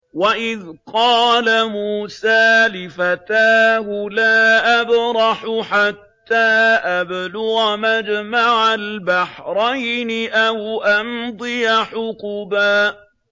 وَإِذْ قَالَ مُوسَىٰ لِفَتَاهُ لَا أَبْرَحُ حَتَّىٰ أَبْلُغَ مَجْمَعَ الْبَحْرَيْنِ أَوْ أَمْضِيَ حُقُبًا